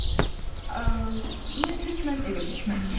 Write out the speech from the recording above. Mən hökmən evə getməliyəm.